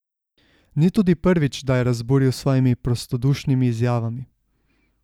Ni tudi prvič, da je razburil s svojimi prostodušnimi izjavami.